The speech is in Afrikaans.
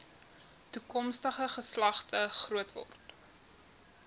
toekomstige geslagte grootword